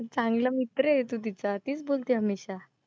चांगला मित्र आहे तू तिचा. तीच बोलते हमेशा.